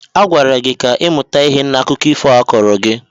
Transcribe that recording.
Agwara gị ka ị mụta ihe n'akụkọ ifo a kọọrọ gị!